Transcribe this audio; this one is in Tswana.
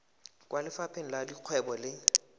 kwa lefapheng la dikgwebo le